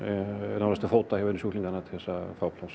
nánast til fóta hjá einum sjúklingi til að fá pláss